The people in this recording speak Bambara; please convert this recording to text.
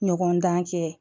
Ɲɔgɔn dan kɛ